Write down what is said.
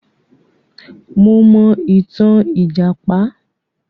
Mo mọ itan lìjàpá.